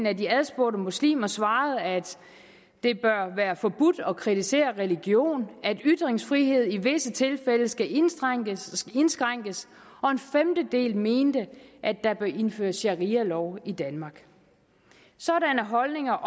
af de adspurgte muslimer svarede at det bør være forbudt at kritisere religion at ytringsfrihed i visse tilfælde skal indskrænkes indskrænkes og en femtedel mente at der bør indføres sharialov i danmark sådanne holdninger